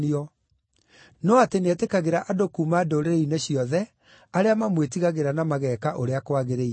no atĩ nĩetĩkagĩra andũ kuuma ndũrĩrĩ-inĩ ciothe arĩa mamwĩtigagĩra na mageeka ũrĩa kwagĩrĩire.